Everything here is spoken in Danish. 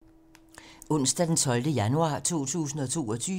Onsdag d. 12. januar 2022